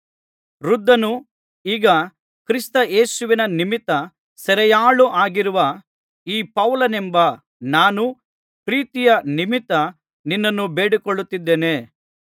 ವೃದ್ಧನೂ ಈಗ ಕ್ರಿಸ್ತಯೇಸುವಿನ ನಿಮಿತ್ತ ಸೆರೆಯಾಳಾಗಿರುವ ಈ ಪೌಲನೆಂಬ ನಾನು ಪ್ರೀತಿಯ ನಿಮಿತ್ತ ನಿನ್ನನ್ನು ಬೇಡಿಕೊಳ್ಳುತ್ತಿದ್ದೇನೆ